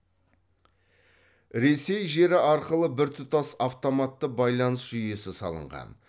ресей жері арқылы біртұтас автоматты байланыс жүйесі салынған